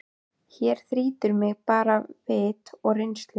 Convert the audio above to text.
Hér þrýtur mig bara vit og reynslu.